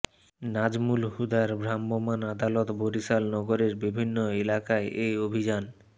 নাজমূল হুদার ভ্রাম্যমাণ আদালত বরিশাল নগরের বিভিন্ন এলাকায় এ অভিযান